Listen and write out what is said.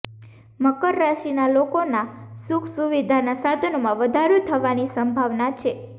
મકર રાશિના લોકો ના સુખ સુવિધાના સાધનોમાં વધારો થવાની સંભાવના છે